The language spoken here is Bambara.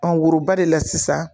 Ɔ woroba de la sisan